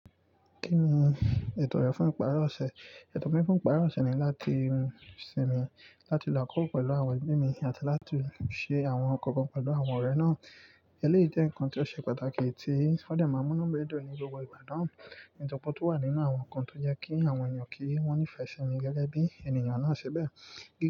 Kí ni ètò rẹ fún ìpara ọ̀sẹ̀? Ètò mi fún ìpara ọ̀sẹ̀ ni láti hun sinmi, láti lọ àkókò pẹ̀lú àwọn ẹbí mi, àti láti ṣe àwọn nkankan pẹ̀lú àwọn ọ̀rẹ́ náà. Eléyìí jẹ́ ǹkan tí ó ṣe pàtàkì tí ó de maa n mu inú mi dun ní gbogbo ìgbà náà. Nnkankan tó wà nínú àwọn ǹkan tó jẹ́ kí àwọn èèyàn kí wọ́n nífẹ̀ẹ́ sinmi gẹ́gẹ́ bí ènìyàn náà ṣe bẹ́ẹ̀